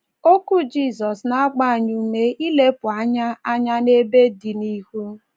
Okwu Jizọs na - agba anyị ume ilepụ anya anya n'ebe dị n’ihu.